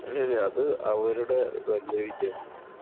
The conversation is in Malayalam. ഇല്ല. ഇല്ല. അത് അവരുടെ വലിയ വിജയം തന്നെയാണ് അത്.